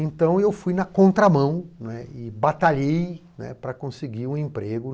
Então, eu fui na contramão não é, e batalhei, né para conseguir um emprego.